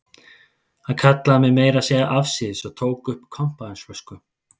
Hann kallaði mig meira að segja afsíðis og tók upp kampavínsflösku.